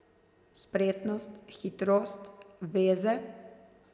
Spretnost, hitrost, veze?